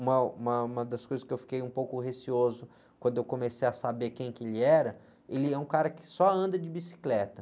Uma, uma, uma das coisas que eu fiquei um pouco receoso quando eu comecei a saber quem que ele era, ele é um cara que só anda de bicicleta.